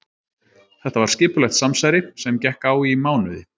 Þetta var skipulagt samsæri sem gekk á í mánuði.